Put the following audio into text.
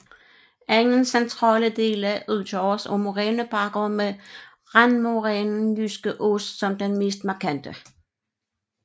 Egnens centrale dele udgøres af morænebakker med randmorænen Jyske Ås som den mest markante